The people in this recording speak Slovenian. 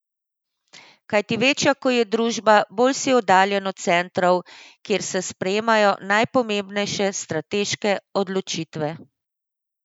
Kajti večja ko je družba, bolj si oddaljen od centrov, kjer se sprejemajo najpomembnejše strateške odločitve.